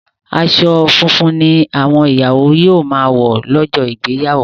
aṣọ funfun ní àwọn ìyàwó yíò má wọ lójó Ìgbéyàwó